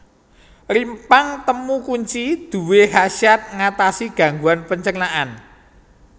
Rimpang temu kunci duwé khasiat ngatasi gangguan pencernaan